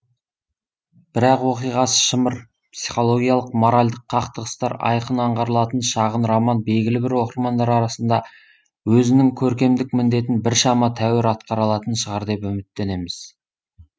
бірақ оқиғасы шымыр писхологиялық моральдық қақтығыстар айқын аңғарылатын шағын роман белгілі бір оқырмандар арасында өзінің көркемдік міндетін біршама тәуір атқара алатын шығар деп үміттенеміз